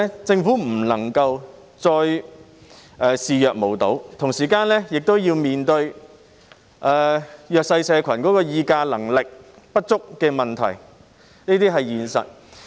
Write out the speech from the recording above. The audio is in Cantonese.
政府不能夠再視若無睹，同時也要面對弱勢社群議價能力不足的問題，這是現實的情況。